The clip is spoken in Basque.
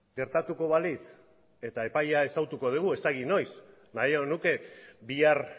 gertatuko balitz eta epaia ezagutuko dugu ez dakit noiz nahiago nuke bihar